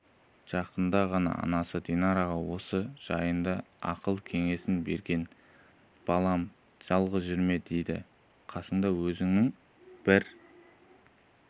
жақында ғана анасы динараға осы жайында ақыл-кеңесін берген балам жалғыз жүрме дедім қасыңда өзіңнің бір